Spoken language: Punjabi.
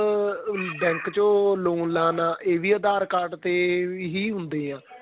ਅਹ bank ਚੋ loan ਲਾਂਨ ਆਂ ਏ ਵੀ aadhar card ਤੇ ਇਹ ਹੁੰਦੇ ਹਾਂ